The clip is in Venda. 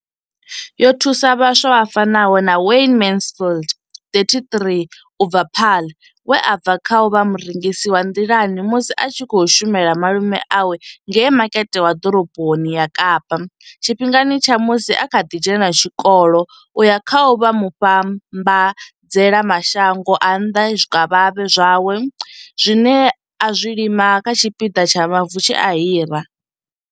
Yo thusa vhaswa vha fanaho na Wayne Mansfield 33 u bva Paarl, we a bva kha u vha murengisi wa nḓilani musi a tshi khou shumela malume awe ngei makete wa ḓoroboni ya Kapa tshifhingani tsha musi a kha ḓi dzhena tshikolo u ya kha u vha muvhambadzela mashango a nnḓa zwikavhavhe zwawe zwine a zwi lima kha tshipiḓa tsha mavu tshe a hira.